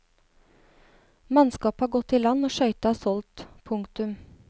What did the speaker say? Mannskapet har gått i land og skøyta er solgt. punktum